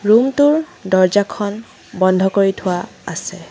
Room টোৰ দৰ্জাখন বন্ধ কৰি থোৱা আছে।